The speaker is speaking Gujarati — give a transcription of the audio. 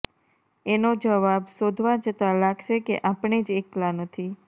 એનો જવાબ શોધવા જતાં લાગશે કે આપણે જ એકલા નથી